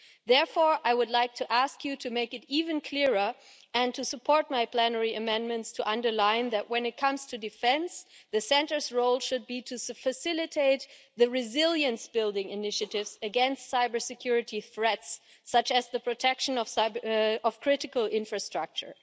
Therefore, I would like to ask you to make it even clearer and to support my plenary amendments to underline that, when it comes to defence, the Centre's role should be to facilitate the resilience-building initiatives against cybersecurity threats such as the protection of critical infrastructure.